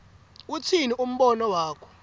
utsini umbono wakho